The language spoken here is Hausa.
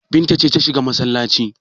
Binta ce ta shiga masallaci.